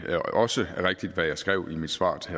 det også er rigtigt hvad jeg skrev i mit svar til